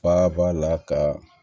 Faaba la ka